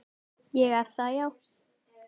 Ég er það já.